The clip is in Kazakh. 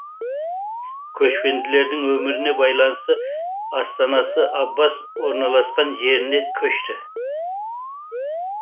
көшпенділердің өміріне байланысты астанасы аббас орналасқан жеріне көшті